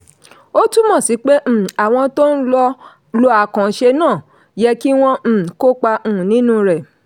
ó túmọ̀ sí pé um àwọn tó ń lò àkànṣe náà yẹ kí wọ́n um kópa um nínú rẹ̀.